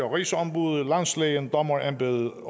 rigsombuddet landslægen dommerembedet